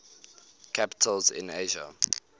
capitals in asia